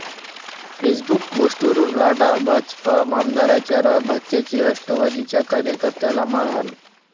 Facebook पोस्टवरून राडा, भाजप आमदाराच्या भाच्याची राष्ट्रवादीच्या कार्यकर्त्याला मारहाण